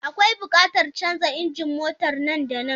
Akwai buƙatar canza injin motar nan da nan.